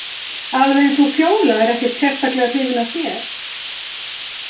Alveg eins og Fjóla er ekkert sérstaklega hrifin af þér.